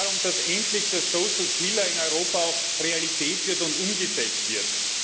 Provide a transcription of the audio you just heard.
Es geht darum, dass endlich die soziale Säule in Europa auch Realität wird und umgesetzt wird.